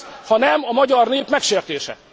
Mi ez, ha nem a magyar nép megsértése?